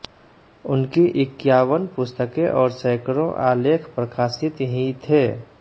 उनकी इक्यावन पुस्तकें और सैकड़ों आलेख प्रकाशित ही थे